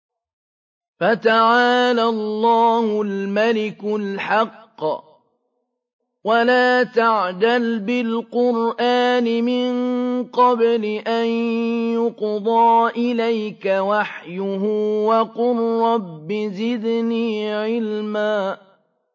فَتَعَالَى اللَّهُ الْمَلِكُ الْحَقُّ ۗ وَلَا تَعْجَلْ بِالْقُرْآنِ مِن قَبْلِ أَن يُقْضَىٰ إِلَيْكَ وَحْيُهُ ۖ وَقُل رَّبِّ زِدْنِي عِلْمًا